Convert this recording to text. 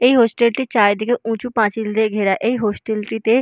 এই হোস্টেল -টির চারিদিকে উঁচু পাঁচিল দিয়ে ঘেরা এই হোস্টেল -টিতে